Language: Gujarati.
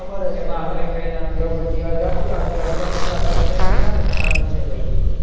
ખબર છે એમાં આપડે કઈ ના કઈ શકીએ અડધા તું રાખજે અડધા મુ રાખે એમાં એમને ક્યાં નુકસાન જ છે ભાઈ